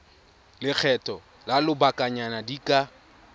lekgetho la lobakanyana di ka